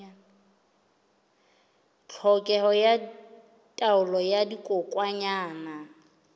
tlhokeho ya taolo ya dikokwanyana